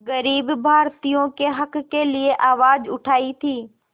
ग़रीब भारतीयों के हक़ के लिए आवाज़ उठाई थी